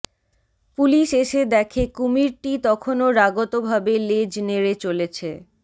police এসে দেখে কুমিরটি তখনো রাগতভাবে লেজ নেড়ে চলেছে